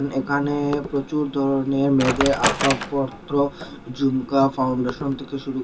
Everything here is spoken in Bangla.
একানে প্রচুর ধরনের মেয়েদের আসবাবপত্র ঝুমকা ফাউন্ডেশন থেকে শুরু করে--